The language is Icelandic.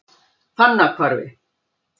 Fannahvarfi